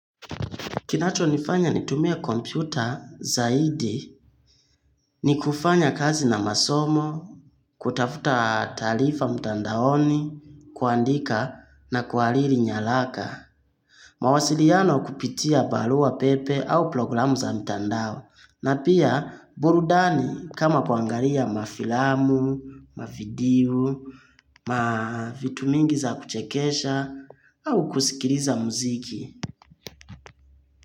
Kinacho nifanya nitumie kompyuta zaidi, ni kufanya kazi na masomo, kutafuta talifa mtandaoni, kuandika na kualiri nyalaka. Mawasiliano kupitia baluwa pepe au programu za mtandao. Na pia burudani kama kwangaria mafilamu, mavidiu, mavitumingi za kuchekesha au kusikiriza muziki.